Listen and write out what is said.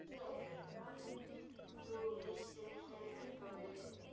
Þú vissir ekki heldur hvað mér leið.